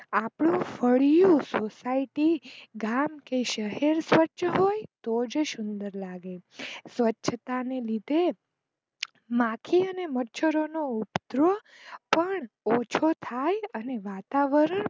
આપણું ફળીયુ સોસાયટી ગામ કે શહેર સ્વચ્છ હોય તો જ સુંદર લાગે સ્વચ્છ તાને લીધે માખી અને મચ્છર ઉંધરોન ઓછું થાય. અને વાતાવરણ